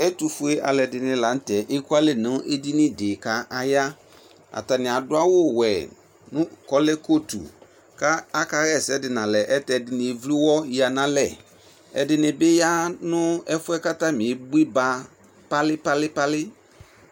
Ɛtofue alɛde ne lantɛ eku alɛ nɛ esini de ka aya Atane ado awuwɛ no, kɔlɛ kotu ka aka ha asɛ de nalɛ ɛtɛ ɛdene evlu uwɔ yia nalɛ Ɛdene ya no ɛfuɛ atame eboiba palipalipali